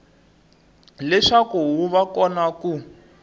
leswaku wu va kona ku